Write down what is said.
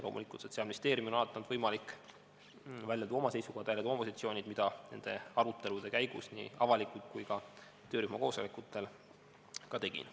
Loomulikult, Sotsiaalministeeriumil on alati olnud võimalik välja tuua oma seisukohad, oma positsioonid, mida ma nende arutelude käigus nii avalikult kui ka töörühma koosolekutel ka tegin.